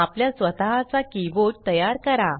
आपल्या स्वतः चा की बोर्ड तयार करा